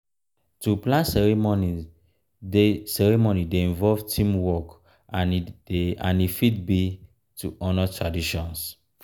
to plan ceremony dey ceremony dey involve teamwork and e fit be to honour traditions.